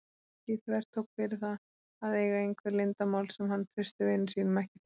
Nikki þvertók fyrir það að eiga einhver leyndarmál sem hann treysti vinum sínum ekki fyrir.